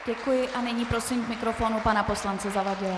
Děkuji a nyní prosím k mikrofonu pana poslance Zavadila.